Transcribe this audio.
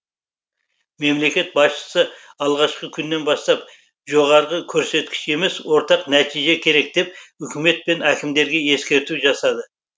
мемлекет басшысы алғашқы күннен бастап жоғарғы көрсеткіш емес ортақ нәтиже керек деп үкімет пен әкімдерге ескерту жасады